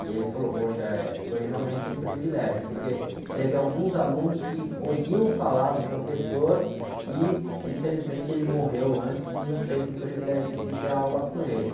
E ele falou, poxa, eh, foi realmente um privilégio, porque teve alguns alunos que ouviam falar do professor e, infelizmente, ele morreu antes e não teve o privilégio de ter aula com ele.